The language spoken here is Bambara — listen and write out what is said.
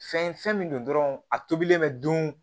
Fɛn fɛn min don dɔrɔn a tobilen bɛ dun